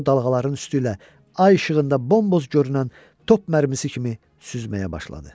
O dalğaların üstü ilə ay işığında bomboz görünən top mərmisi kimi süzməyə başladı.